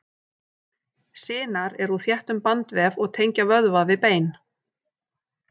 Sinar eru úr þéttum bandvef og tengja vöðva við bein.